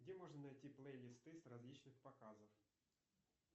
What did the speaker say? где можно найти плейлисты с различных показов